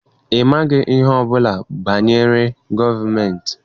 Ị maghị ihe ọbụla banyere gọọmentị.